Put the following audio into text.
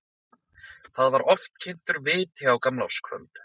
Þar var oft kyntur viti á gamlárskvöld.